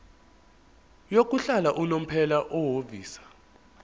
yokuhlala unomphela ofisa